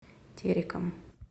тереком